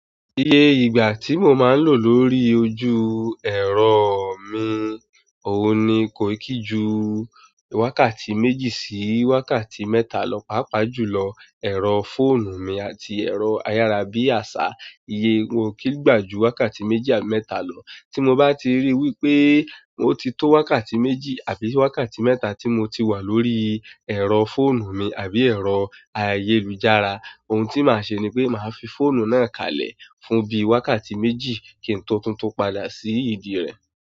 Ìyé ìgbà tí mo máa lò lórí ojú ẹ̀rọ mi oun ni kò kí jù wákàtí méjì sí wákàtí mẹ́ta lọ. Pápa jùlọ ẹ̀rọ fóònù mi àti ẹ̀rọ ayárabíàṣá, iye wọn kì í gbà ju wákàtí méjì àbí mẹ́ta lọ. Tí mo bá ti rí wípé mo ti tó wákàtí méjì àbí wákàtí mẹ́ta tí mo ti wà lórí ẹ̀rọ fóònù mi àbí ẹ̀rọ ayélujára, ohun tí màá ṣe ni pé màá fi fóònù náà kalẹ̀ fún bí i wákàtí méjì kí n tó túntún padà sí ìdí rẹ̀.